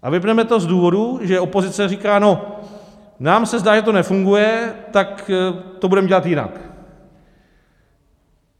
A vypneme to z důvodu, že opozice říká: No, nám se zdá, že to nefunguje, tak to budeme dělat jinak.